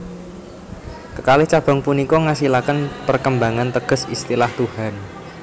Kekalih cabang punika ngasilaken perkembangan teges istilah Tuhan